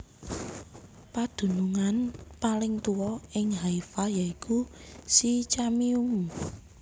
Padunungan paling tuwa ing Haifa ya iku Sycaminum